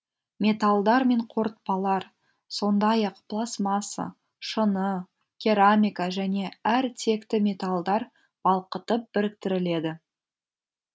металдар мен қорытпалар сондай ақ пластмасса шыны керамика және әр текті металдар балқытып біріктіріледі